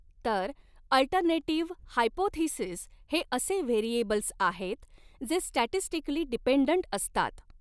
तर alternative hypothesis हे असे व्हेरिऐबल्स आहेत जे स्टॅटिस्टिकली डीपेन्डन्ट असतात.